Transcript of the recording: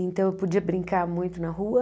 Então eu podia brincar muito na rua.